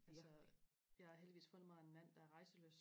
altså jeg har heldigvis fundet mig en mand der er rejselysten